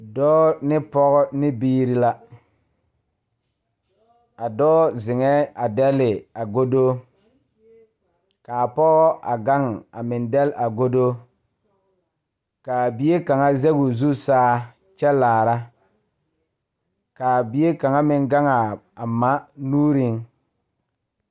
Dɔɔ ne pɔge ne biiri la a dɔɔ zeŋɛɛ a dɛle a godo k,a pɔge a gaŋ a meŋ dɛle a godo k,a bie kaŋ zɛge o zu saa kyɛ laara k,a bie kaŋ gaŋ a ma nuuriŋ.